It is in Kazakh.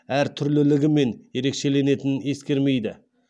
әртүрлілігімен ерекшеленетінін ескермейді